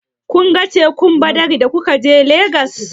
Kun ga tekun Badagri da kuka je Legas?